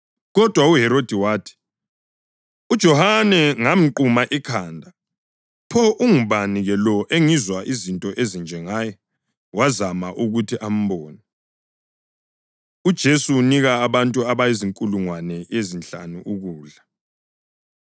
Kodwa uHerodi wathi, “UJohane ngamquma ikhanda. Pho ungubani-ke lo engizwa izinto ezinje ngaye?” Wazama ukuthi ambone. UJesu Unika Abantu Abazinkulungwane Ezinhlanu Ukudla